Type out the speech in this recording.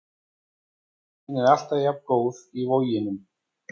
Stemningin er alltaf jafn góð í Voginum.